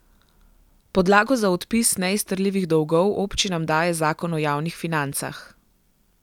Podlago za odpis neizterljivih dolgov občinam daje zakon o javnih financah.